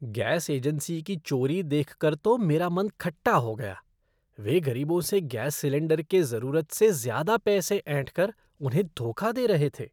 Gas agency की चोरी देखकर तो मेरा मन खट्टा हो गया, वे गरीबों से गैस सिलेंडर के ज़रूरत से ज़्यादा पैसे ऐंठ कर उन्हें धोखा दे रहे थे।